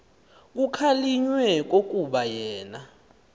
kukhalinywe kukuba yena